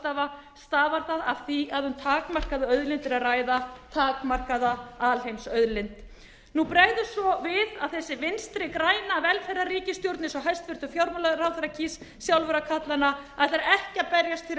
ráðstafa stafar það af því að um takmarkaða auðlind er að ræða takmarkaða alheimsauðlind nú bregður svo við að þessi vinstri græna velferðarríkisstjórn eins og hæstvirtur fjármálaráðherra kýs sjálfur að kalla hana ætlar ekki að berjast fyrir